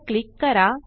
वर क्लिक करा